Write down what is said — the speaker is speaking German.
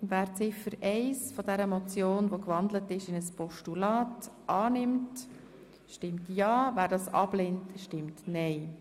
Wer die in ein Postulat gewandelte Ziffer 1 des Vorstosses annimmt, stimmt ja, wer dies ablehnt, stimmt nein.